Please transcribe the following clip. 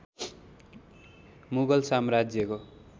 मुगल साम्राज्यको